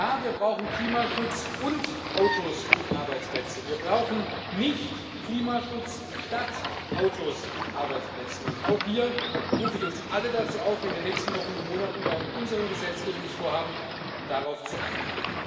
Ja, wir brauchen Klimaschutz und Autos und Arbeitsplätze wir brauchen nicht Klimaschutz statt Autos und Arbeitsplätzen, und auch hier rufe ich uns alle dazu auf, in den nächsten Wochen und Monaten bei unseren Gesetzgebungsvorhaben darauf zu achten.